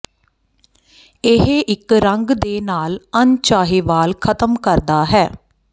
ਇਹ ਇੱਕ ਰੰਗ ਦੇ ਨਾਲ ਅਣਚਾਹੇ ਵਾਲ ਖਤਮ ਕਰਦਾ ਹੈ